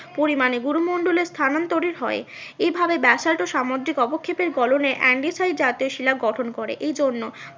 পরিমানে গুরুমণ্ডলের স্থানান্তরি হয়। এইভাবে ব্যাসাল্ট ও সামুদ্রিক অবক্ষেপের গোলনে জাতীয় শিলা গঠন করে এই জন্য